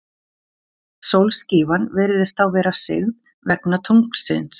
Sólskífan virðist þá vera sigð, vegna tunglsins.